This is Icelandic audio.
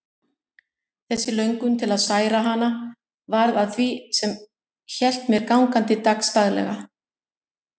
Þessi löngun til að særa hana varð að því sem hélt mér gangandi dagsdaglega.